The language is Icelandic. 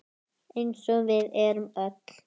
Eins og við erum öll.